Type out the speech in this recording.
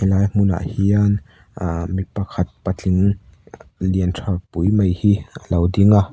lai hmunah hian aaa mi pakhat patling lian tha pui mai hi a lo ding a.